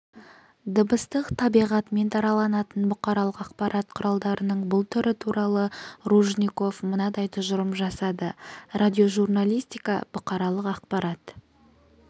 дыбыстық табиғатымен дараланатын бұқаралық ақпарат құралдарының бұл түрі туралы ружников мынадай тұжырым жасады радиожурналистика бұқаралық ақпарат